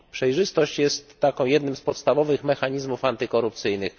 Przejrzystość jest jednym z podstawowych mechanizmów antykorupcyjnych.